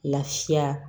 Lafiya